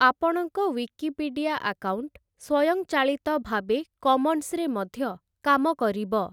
ଆପଣଙ୍କ Wikipedia account ସ୍ୱୟଂଚାଳିତ ଭାବେ କମନ୍ସରେ ମଧ୍ୟ କାମ କରିବ ।